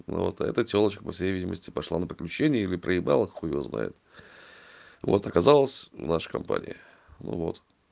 но вот это тёлочка по всей видимости пошла на приключение или проебала хуй его знает вот оказалась в нашей компании ну вот